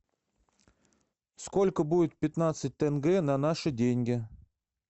сколько будет пятнадцать тенге на наши деньги